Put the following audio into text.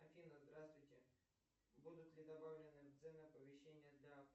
афина здравствуйте будут ли добавлены цены помещения для